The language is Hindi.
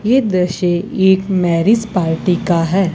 ये दृश्य एक मैरिज पार्टी का है।